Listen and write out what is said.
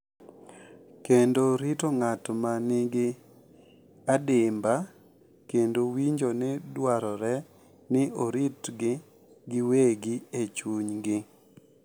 Kendo rito ng’at ma nigi adimba kendo winjo ni dwarore ni oritgi giwegi e chunygi,